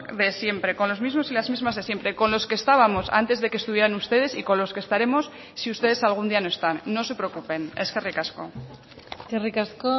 de siempre con los mismos y las mismas de siempre con los que estábamos antes de que estuvieran ustedes y con los que estaremos si ustedes algún día no están no se preocupen eskerrik asko eskerrik asko